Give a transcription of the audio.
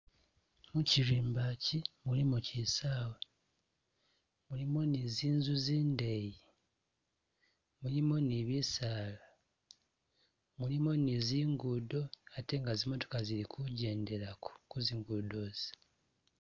Mu kirimba ki mulimu kisawa, mulimu ni zinzu zindeyi, mulimu ni bisaala, mulimu ni zingudo ate nga zimotoka zili kugyendelako ku zingudo ezi.